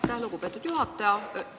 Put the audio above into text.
Aitäh, lugupeetud juhataja!